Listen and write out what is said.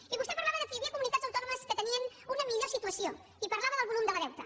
i vostè parlava que hi havia comunitats autònomes que tenien una millor situació i parlava del volum del deute